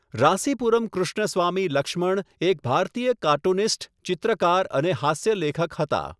રાસીપુરમ કૃષ્ણસ્વામી લક્ષ્મણ એક ભારતીય કાર્ટૂનિસ્ટ, ચિત્રકાર અને હાસ્યલેખક હતા.